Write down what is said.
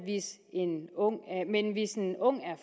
men hvis en ung er